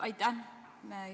Aitäh!